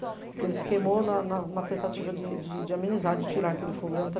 Porque ele se queimou na, na, na tentativa de, de amenizar, de tirar aquele fogo dentro...